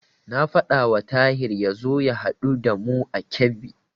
Na faɗawa Tahir ya zo ya haɗu da mu a Kebbi.